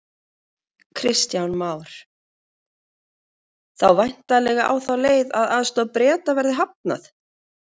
Kristján Már: Þá væntanlega á þá leið að aðstoð Breta verði hafnað?